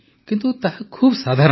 କିନ୍ତୁ ତାହା ଖୁବ ସାଧାରଣ